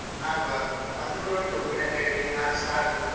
ಆಗುವ ಆಗುವ ನಮ್ದು ಕೂಡ ಉಂಟು ಉಪ್ಪಿನಂಗಡಿ ಅಲ್ಲಿ ನಾಲ್ದು start .